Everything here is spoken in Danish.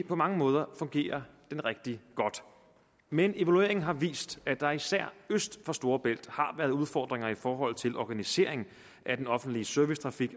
på mange måder fungerer rigtig godt men evalueringen har vist at der især øst for storebælt har været udfordringer i forhold til organiseringen af den offentlige servicetrafik